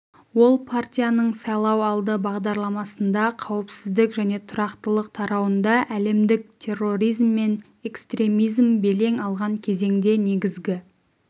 ол партияның сайлауалды бағдарламасында қауіпсіздік және тұрақтылық тарауында әлемдік терроризм мен экстремизм белең алған кезеңде негізгі